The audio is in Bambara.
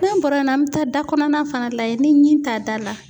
N'an bɔra n'an mi taa da kɔnɔna fana layɛ ni ɲi t'a da la.